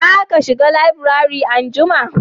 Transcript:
za ka shiga laburare anjima?